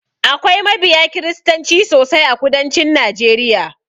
Akwai mabiya kiristanci sosai a kudancin najeriya.